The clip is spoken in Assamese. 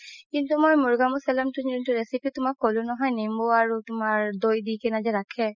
কিন্তু মই মুৰ্গ মাচালাম যোনতো recipe তুমাক ক'লো নহয় নিম্বু আৰু তুমাৰ দৌ দি কিনে যে ৰাখে